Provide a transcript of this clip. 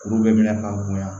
Kuru bɛ minɛ ka bonya